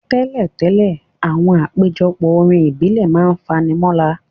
Tẹ́lẹ̀tẹ́lẹ̀, àwọn àpéjọpọ̀ orin ìbílẹ̀ ma n fani mọ́ra.